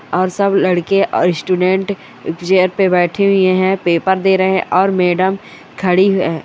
और सब लडके और स्टूडेंट चेयर पे बैठे हुए है पेपर दे रहे है और मैडम खड़ी है।